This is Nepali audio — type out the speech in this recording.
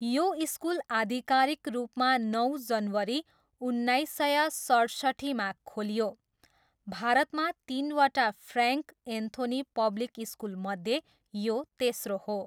यो स्कुल आधिकारिक रूपमा नौ जनवरी उन्नाइस सय सठसट्ठीमा खोलियो, भारतमा तिनवटा फ्र्यान्क एन्थोनी पब्लिक स्कुलमध्ये यो तेस्रो हो।